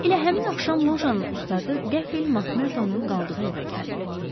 Elə həmin axşam Lojanun ustadı qəfil Makmerdonun qaldığı evə gəldi.